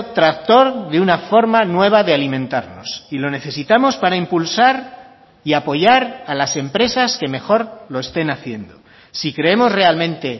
tractor de una forma nueva de alimentarnos y lo necesitamos para impulsar y apoyar a las empresas que mejor lo estén haciendo si creemos realmente